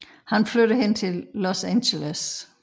Han flytter hende til Los Angeles